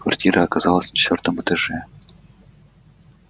квартира оказалась на четвёртом этаже